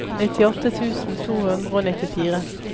nittiåtte tusen to hundre og nittifire